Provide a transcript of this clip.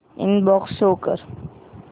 inbox show कर